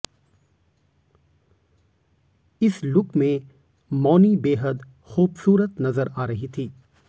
इस लुक में मौनी बेहद खूबसूरत नजर आ रही थी